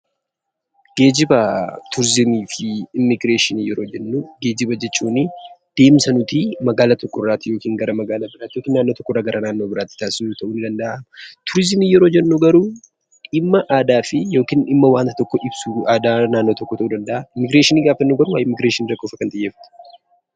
Geejiba turizimii fi immigireeshinii yeroo jennu, geejiba jechuun deemsa nuti magaala tokkoo gara magaalaa biraatti yookiin naannoo tokko irraa naannoo biraatti taasisudha. Turizimii yeroo jennu garuu dhimma aadaa fi yookiin dhimma waanta tokko ibsu aadaa naannoo tokkoo ibsu ta'uu danda'a, immigireeshinii garuu godaansa irratti xiyyeeffata.